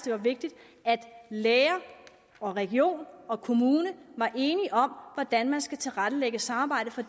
er vigtigt at læger og region og kommune er enige om hvordan man skal tilrettelægge samarbejdet for